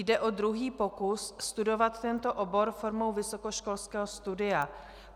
Jde o druhý pokus studovat tento obor formou vysokoškolského studia.